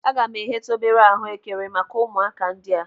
Aga m egheta obere ahuekere maka ụmụaka ndị a.